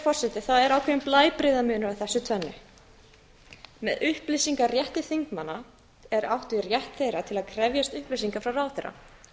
forseti það er ákveðinn blæbrigðamunur á þessu tvennu með upplýsingarétti þingmanna er átt við rétt þeirra til að krefjast upplýsinga frá ráðherra